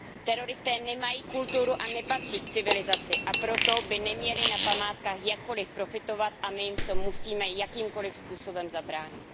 Teroristé nemají kulturu a nepatří k civilizaci, a proto by neměli na památkách jakkoliv profitovat a my jim v tom musíme jakýmkoliv způsobem zabránit.